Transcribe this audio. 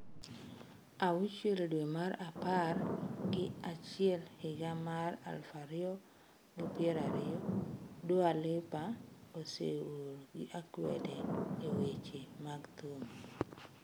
6 dwe mar apar gi achiel higa mar 2020 Dua lipa oseol gi akwede e weche mag thum.